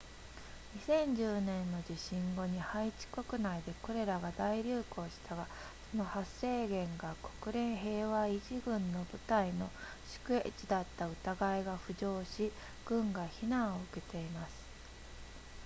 2010年の地震後にハイチ国内でコレラが大流行したがその発生源が国連平和維持軍の部隊の宿営地だった疑いが浮上し軍が非難を受けています